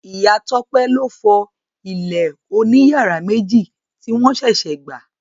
Ìya Tópé loofo ilé oní yàrá méjì tí won sèsè gbà.